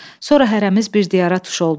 Sonra hərəmiz bir diyara tuş olduq.